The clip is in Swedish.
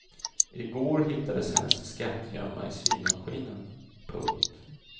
I går hittades hennes skattgömma i symaskinen. punkt